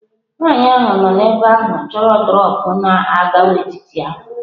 Nwaanyị ahụ nọ ebe ahụ chọrọ droọpu n'Agwaetiti ahụ.